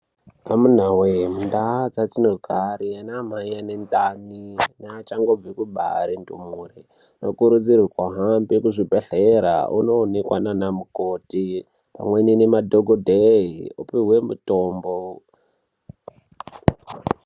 Amunaa wee mundaa dzadzinogare namaeni mundani neachangobva kubare ndumure, tinokurudzirwa hambe kuzvibhedhlera undoonekwa ndiana mukoti pamweni nemadhokodheye upihwe mitombo